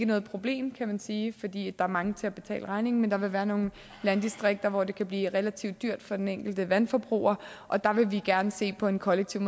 noget problem kan man sige fordi der er mange til at betale regningen men der vil være nogle landdistrikter hvor det kan blive relativt dyrt for den enkelte vandforbruger og der vil vi gerne se på en kollektiv